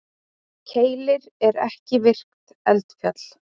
Keilir er ekki virkt eldfjall.